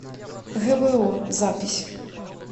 гбо запись